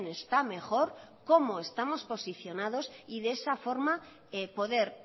está mejor cómo estamos posicionados y de esa forma poder